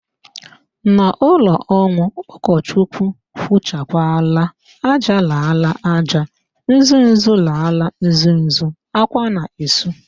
N'ụlọ ọnwụ, ụkọchukwu kwuchakwala, "ájá lara aja, uzuzu lara uzuzu", ákwá na-esu